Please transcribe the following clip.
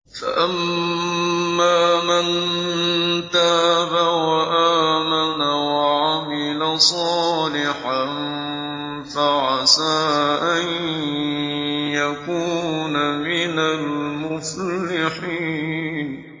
فَأَمَّا مَن تَابَ وَآمَنَ وَعَمِلَ صَالِحًا فَعَسَىٰ أَن يَكُونَ مِنَ الْمُفْلِحِينَ